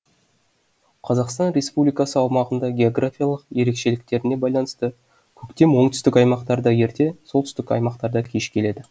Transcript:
қазақстан республикасы аумағында географиялық ерекшеліктеріне байланысты көктем оңтүстік аймақтарда ерте солтүстік аймақтарда кеш келеді